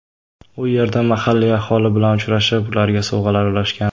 U yerda mahalliy aholi bilan uchrashib, ularga sovg‘alar ulashgan.